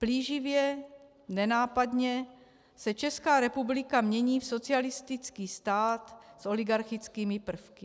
Plíživě, nenápadně se Česká republika mění v socialistický stát s oligarchickými prvky.